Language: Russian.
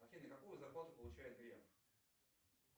афина какую зарплату получает греф